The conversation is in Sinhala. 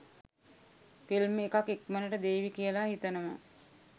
ෆිල්ම් එකත් ඉක්මනට දේවි කියල හිතනවා.